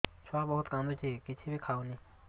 ଛୁଆ ବହୁତ୍ କାନ୍ଦୁଚି କିଛିବି ଖାଉନି